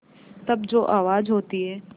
तब जो आवाज़ होती है